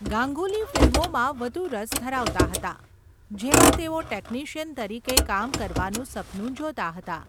ગાંગુલી ફિલ્મોમાં વધુ રસ ધરાવતા હતા, જેમાં તેઓ ટેકનિશિયન તરીકે કામ કરવાનું સપનું જોતા હતા.